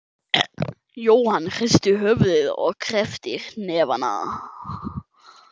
Jóhann hristi höfuðið og kreppti hnefana.